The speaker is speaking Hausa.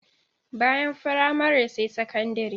Bayan firamare sai sakandire.